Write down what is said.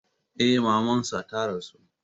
Eh, maman sa ta rasu.